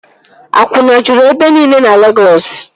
Akwụna juru ebe nile na Legọs